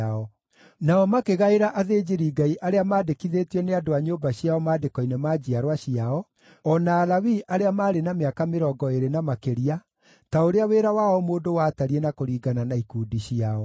Nao makĩgaĩra athĩnjĩri-Ngai arĩa maandĩkithĩtio nĩ andũ a nyũmba ciao maandĩko-inĩ ma njiarwa ciao, o na Alawii arĩa maarĩ na mĩaka mĩrongo ĩĩrĩ na makĩria, ta ũrĩa wĩra wa o mũndũ watariĩ na kũringana na ikundi ciao.